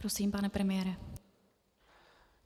Prosím, pane premiére.